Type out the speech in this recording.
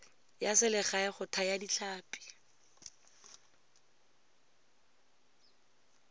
ya selegae go thaya ditlhapi